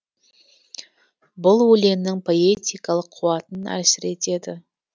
бұл өлеңнің поэтикалық қуатын әлсіретеді